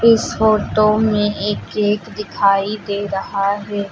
इस फोटो में एक केक दिखाई दे रहा हैं।